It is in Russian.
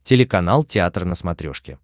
телеканал театр на смотрешке